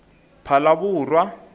phalaborwa